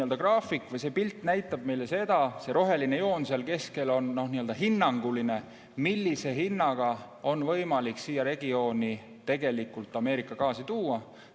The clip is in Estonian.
See graafik või see pilt näitab meile seda – see roheline joon seal keskel on hinnanguline –, millise hinnaga on võimalik siia regiooni Ameerika gaasi tuua.